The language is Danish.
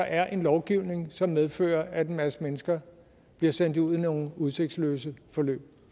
er en lovgivning som medfører at en masse mennesker bliver sendt ud i nogle udsigtsløse forløb